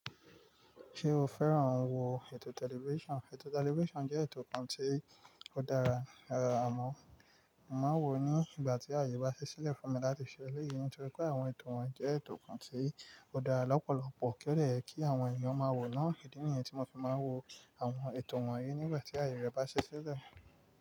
Ṣé o fẹ́ràn wo ètò tẹlifísàn? Ètò tẹlifísàn jẹ́ ètò kan tí ó dára àmọ́, mo màá n wò ó ní ìgbà tí àyè bá ṣi ṣílẹ̀ fún mi láti ṣe éleyii, nítorí pé àwọn ètò ohun jẹ́ ètò kan tí ó dára lọ́pọ̀lọpọ̀ ti o de ye kí àwọn èèyàn máa wò náa. Idi niyií tí mo fi máa ń wo àwọn ètò wọ̀nyí nígbà tí àyè rẹ bá ṣi ṣílẹ̀